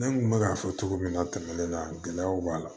Ne kun bɛ k'a fɔ cogo min na tɛmɛnen na gɛlɛyaw b'a la